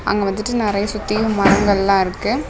அங்க வந்துட்டு நறைய சுத்தியும் மரங்கள்லா இருக்கு.